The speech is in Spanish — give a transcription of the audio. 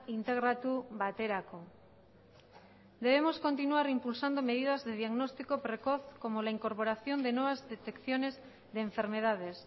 integratu baterako debemos continuar impulsando medidas de diagnóstico precoz como la incorporación de nuevas detecciones de enfermedades